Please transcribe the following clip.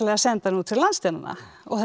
senda hana út fyrir landsteinana og þessa